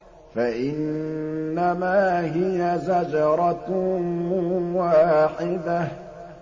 فَإِنَّمَا هِيَ زَجْرَةٌ وَاحِدَةٌ